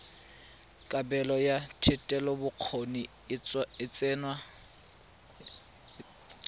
kabelo ya thetelelobokgoni e tsewa